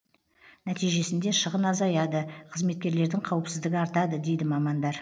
нәтижесінде шығын азаяды қызметкерлердің қауіпсіздігі артады дейді мамандар